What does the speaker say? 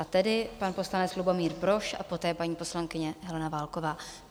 A tedy pan poslanec Lubomír Brož a poté paní poslankyně Helena Válková.